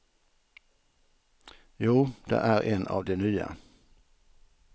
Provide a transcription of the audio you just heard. Jo, det är en av de nya.